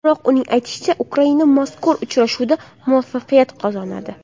Biroq uning aytishicha, Ukraina mazkur uchrashuvda muvaffaqiyat qozonadi.